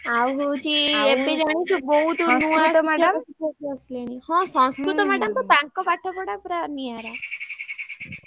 ଆଉ ହଉଛି ଏବେ ଜାଣିଛୁ ବହୁତ ଶିକ୍ଷକ ଶିକ୍ଷୟତ୍ରୀ ଆସିଲେଣି ହଁ ସଂସ୍କୃତ madam ତ ତାଙ୍କ ପାଠ ପଢା ପୁରା ନିଆଁରା।